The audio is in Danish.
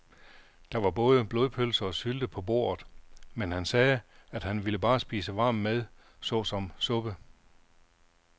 Der var både blodpølse og sylte på bordet, men han sagde, at han bare ville spise varm mad såsom suppe.